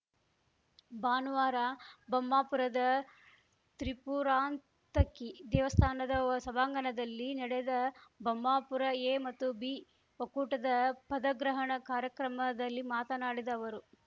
ಭಾನುವಾರ ಬೊಮ್ಮಾಪುರದ ತ್ರಿಪುರಾಂತಕಿ ದೇವಸ್ಥಾನದ ಸಭಾಂಗಣದಲ್ಲಿ ನಡೆದ ಬೊಮ್ಮಾಪುರ ಎ ಮತ್ತು ಬಿ ಒಕ್ಕೂಟದ ಪದಗ್ರಹಣ ಕಾರ್ಯಕ್ರಮದಲ್ಲಿ ಮಾತನಾಡಿದ ಅವರು